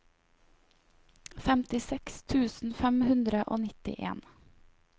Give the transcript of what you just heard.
femtiseks tusen fem hundre og nittien